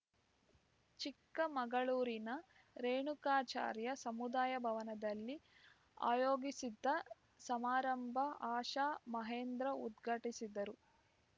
ಚಿಕ್ಕಮಗಳೂರಿನ ರೇಣುಕಾಚಾರ್ಯ ಸಮುದಾಯ ಭವನದಲ್ಲಿ ಆಯೋಗಿಸಿದ್ದ ಸಮಾರಂಭ ಆಶಾಮಹೇಂದ್ರ ಉದ್ಘಾಟಿಸಿದರು